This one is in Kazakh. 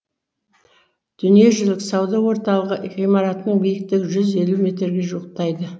дүниежүзілік сауда орталығы ғимаратының биіктігі жүз елу метрге жуықтайды